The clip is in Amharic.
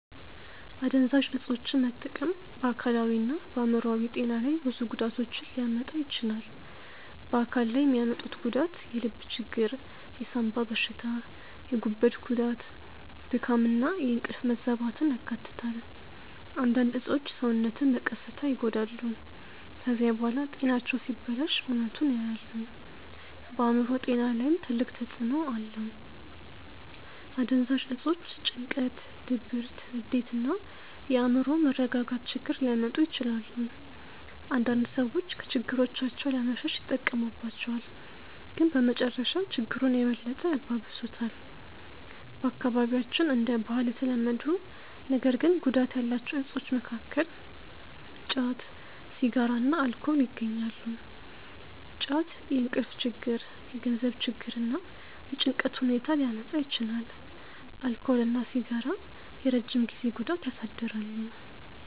አደንዛዥ እፆችን መጠቀም በአካላዊና በአእምሮአዊ ጤና ላይ ብዙ ጉዳቶችን ሊያመጣ ይችላል። በአካል ላይ የሚያመጡት ጉዳት የልብ ችግር፣ የሳንባ በሽታ፣ የጉበት ጉዳት፣ ድካም እና የእንቅልፍ መዛባትን ያካትታል። አንዳንድ እፆች ሰውነትን በቀስታ ይጎዳሉ። ከዚያ በኋላ ጤናቸው ሲበላሽ እውነቱን ያያሉ። በአእምሮ ጤና ላይም ትልቅ ተጽእኖ አለው። አደንዛዥ እፆች ጭንቀት፣ ድብርት፣ ንዴት እና የአእምሮ መረጋጋት ችግር ሊያመጡ ይችላሉ። አንዳንድ ሰዎች ከችግሮቻቸው ለመሸሽ ይጠቀሙባቸዋል፣ ግን በመጨረሻ ችግሩን የበለጠ ያባብሱታል። በአካባቢያችን እንደ ባህል የተለመዱ ነገር ግን ጉዳት ያላቸው እፆች መካከል ጫት፣ ሲጋራ እና አልኮል ይገኛሉ። ጫት የእንቅልፍ ችግር፣ የገንዘብ ችግር እና የጭንቀት ሁኔታ ሊያመጣ ይችላል። አልኮል እና ሲጋራ የረጅም ጊዜ ጉዳት ያሳድራሉ።